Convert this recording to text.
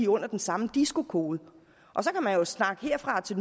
under den samme disco kode og så kan man jo snakke herfra og til